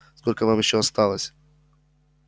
сколько вам ещё осталось